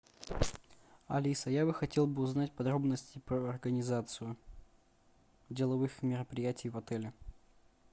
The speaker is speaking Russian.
алиса я бы хотел бы узнать подробности про организацию деловых мероприятий в отеле